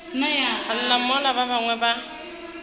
lla mola ba bangwe ba